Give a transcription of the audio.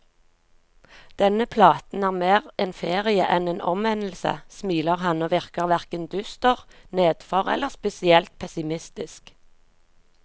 Denne platen er mer en ferie enn en omvendelse, smiler han, og virker hverken dyster, nedfor eller spesielt pessimistisk.